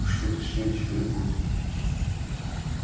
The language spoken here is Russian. что-то с ним теперь будет